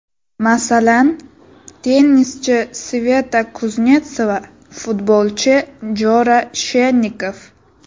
Masalan, tennischi Sveta Kuznetsova, futbolchi Jora Shennikov.